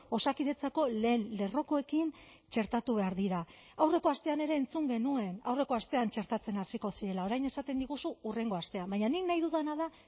osakidetzako lehen lerrokoekin txertatu behar dira aurreko astean ere entzun genuen aurreko astean txertatzen hasiko zirela orain esaten diguzu hurrengo astean baina nik nahi dudana da